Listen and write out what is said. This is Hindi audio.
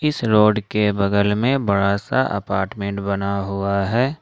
इस रोड के बगल में बड़ा सा अपार्टमेंट बना हुआ है।